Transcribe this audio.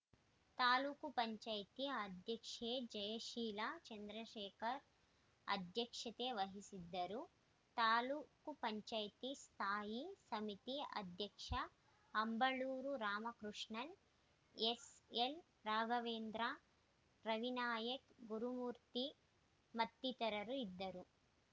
ತಾಲೂಕ್ ಪಂಚಾಯೆತಿ ಅಧ್ಯಕ್ಷೆ ಜಯಶೀಲ ಚಂದ್ರಶೇಖರ್‌ ಅಧ್ಯಕ್ಷತೆ ವಹಿಸಿದ್ದರು ತಾಲೂಕ್ ಪಂಚಾಯೆತಿ ಸ್ಥಾಯಿ ಸಮಿತಿ ಅಧ್ಯಕ್ಷ ಅಂಬಳೂರು ರಾಮಕೃಷ್ಣ ಎಸ್‌ಎಲ್‌ರಾಘವೇಂದ್ರ ರವಿನಾಯಕ್‌ ಗುರುಮೂರ್ತಿ ಮತ್ತಿತರರು ಇದ್ದರು